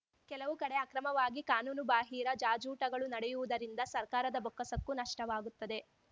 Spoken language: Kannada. ಕೆಲವು ಕಡೆ ಅಕ್ರಮವಾಗಿ ಕಾನೂನುಬಾಹಿರ ಜಾಜೂಟಗಳು ನಡೆಯುವುದರಿಂದ ಸರ್ಕಾರದ ಬೊಕ್ಕಸಕ್ಕೂ ನಷ್ಟವಾಗುತ್ತದೆ